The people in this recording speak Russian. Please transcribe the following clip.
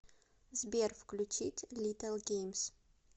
сбер включить литтл геймс